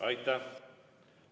Aitäh!